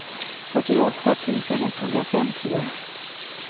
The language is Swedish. fyrtioåtta tusen etthundrafemtio